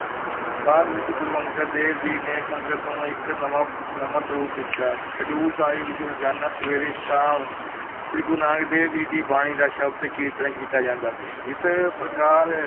ਬਾਅਦ ਵਿੱਚ ਗੁਰੂ ਅੰਗਦ ਦੇਵ ਜੀ ਨੇ ਸੰਗਤ ਨੂੰ ਇੱਕ ਨਵਾਂ ਨਵਾਂ ਸਰੂਪ ਦਿੱਤਾ, ਖਡੂਰ ਸਾਹਿਬ ਵਿੱਚ ਰੋਜ਼ਾਨਾ ਸਵੇਰੇ-ਸ਼ਾਮ ਸ੍ਰੀ ਗੁਰੂ ਨਾਨਕ ਦੇਵ ਜੀ ਦੀ ਬਾਣੀ ਦਾ ਸ਼ਬਦ ਕੀਰਤਨ ਕੀਤਾ ਜਾਂਦਾ ਸੀ, ਇਸ ਪ੍ਰਕਾਰ